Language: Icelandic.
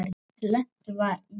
Lent var í